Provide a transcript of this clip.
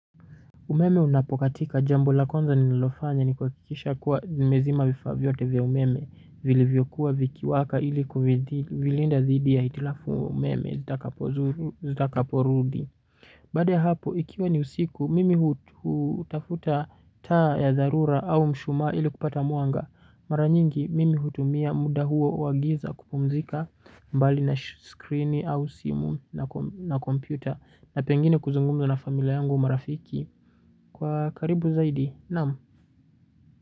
Umeme unapokatika jambo la kwanza nililofanya ni kuhakikisha kuwa nimezima vifaa vyote vya umeme vilivyokuwa vikiwaka ili kuvilinda dhidi ya hitilafu ya umeme itakavyo zuru zitakaporudi. Baada ya hapo, ikiwa ni usiku, mimi hutafuta taa ya dharura au mshumaa ili kupata mwanga. Maranyingi, mimi hutumia muda huo wa giza kupumzika mbali na screen au simu na computer. Na pengine kuzungumza na familia yangu marafiki. Kwa karibu zaidi, naam.